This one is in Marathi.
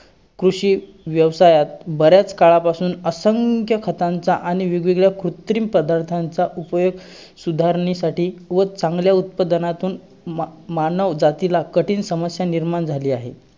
कृषी व्यवसायात, बऱ्याच काळापासून असंख्य खतांचा आणि वेगवेगळ्या कृत्रिम पदार्थांचा उपयोग सुधारण्यासाठी व चांगल्या उत्पादनातून मा~ मानवजातीला कठीण समस्या निर्माण झाली आहे.